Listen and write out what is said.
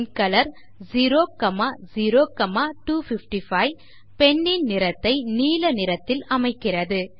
அவ்வாறே pen colour 00255 pen ன் நிறத்தை நீல நிறத்தில் அமைக்கிறது